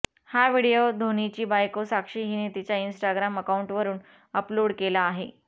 हा व्हिडीओ धोनीची बायको साक्षी हिने तिच्या इंस्टाग्राम अकाउंटवरून अपलोड केला आहे